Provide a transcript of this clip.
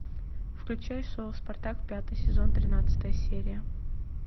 включай шоу спартак пятый сезон тринадцатая серия